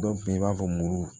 Dɔw be yen i b'a fɔ muru